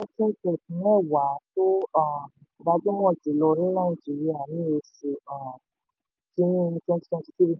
wọ́n jẹ́ fintech mẹ́wàá tó um gbajúmọ̀ jùlọ ní nàìjíríà ní oṣù um kínní twenty twenty three